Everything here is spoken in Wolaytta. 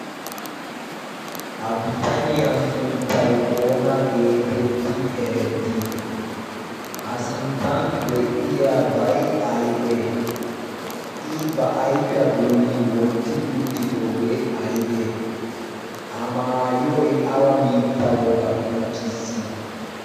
ha bitaniyaa sunttay oona geetetti erettii a sinttan de'iya bay aybee i ba ayfiyaa bolli wotti uttidoogee aybee a maayoy awa biitta wogaa qonccissiis.